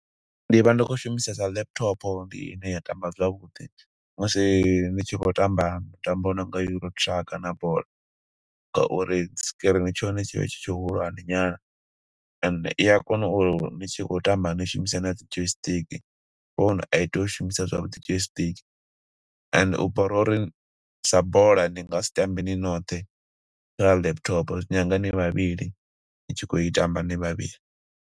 Ndi vha ndi khou shumisesa laptop, ndi ine ya tamba zwavhuḓi, musi ni tshi khou tamba mitambo yo nonga euro-truck na bola. Nga uri screen tsha hone tshi vha tshi tshihulwane nyana and iya kona uri ni tshi khou tamba ni shumise na dzi joy stick. Phone a i teyi u shumisa zwavhuḓi joy stick, and hu bora uri sa bola ni nga si tambe ni noṱhe kha laptop, zwi nyanga ni vhavhili, ni tshi khou i tamba ni vhavhili.